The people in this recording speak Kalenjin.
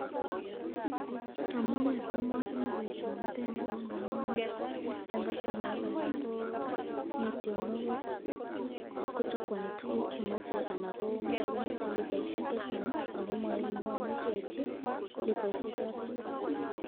Amune simachame boisyoniteni, ko ngamun eng kastomaek alak ko chakwani tukuk chemache, anan komache litaisyek chechang ako mamuchi aityi litaisyek chotet